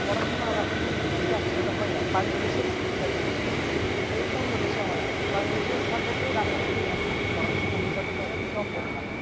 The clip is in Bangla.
পড়াশোনা আর রাজনীতি বিদ্যা দুটা একসাথে হয় না bangladesh স্থানতাতে বলতেছি ও অন্য দেশে হয় bangladesh এর স্থানতাতে রাজনীতি এবং পড়াশোনা একসাথে কখনো সম্ভব না